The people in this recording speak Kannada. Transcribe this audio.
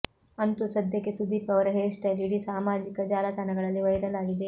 ಅಂತೂ ಸದ್ಯಕ್ಕೆ ಸುದೀಪ್ ಅವರ ಹೇರ್ ಸ್ಟೈಲ್ ಇಡೀ ಸಾಮಾಜಿಕ ಜಾಲತಾಣಗಳಲ್ಲಿ ವೈರಲ್ ಆಗಿದೆ